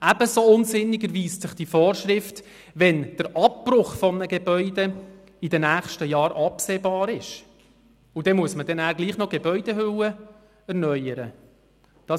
Ebenso unsinnig erweist sich diese Vorschrift, wenn ein Gebäude ohnehin in den nächsten Jahren abgebrochen wird und man trotzdem noch die Gebäudehülle erneuern muss.